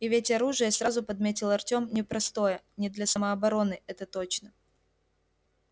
и ведь оружие сразу подметил артём непростое не для самообороны это точно